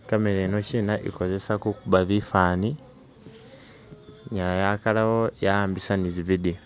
i camera yino kyina ikozesa kukuba bifaani, inyala yakalawo ya'ambisa nizi video.